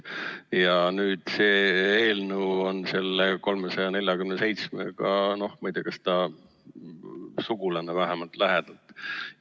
Ja nüüd see eelnõu on selle 347-ga, ma ei tea, vähemalt lähedalt sugulane.